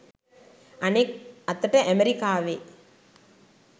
අනෙක් අතට ඇමරිකාවේ